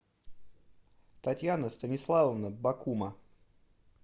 татьяна станиславовна бакума